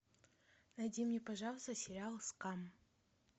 найди мне пожалуйста сериал скам